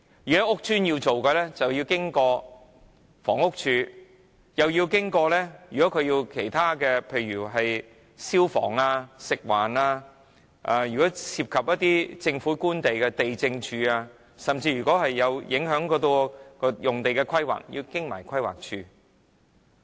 如果要在屋邨舉行，要通過房屋署，又要通過其他如消防處、食物環境衞生署，如果涉及政府官地，要找地政處，如果會影響用地規劃，更要通過規劃署。